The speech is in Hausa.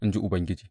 in ji Ubangiji.